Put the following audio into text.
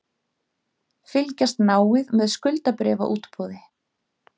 Fylgjast náið með skuldabréfaútboði